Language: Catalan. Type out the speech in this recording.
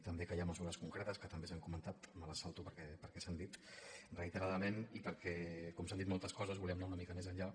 també que hi ha mesures concretes que també s’han comentat me les salto perquè s’han dit reiteradament i perquè com s’han dit moltes coses volíem anar una mica més enllà